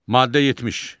Maddə 70.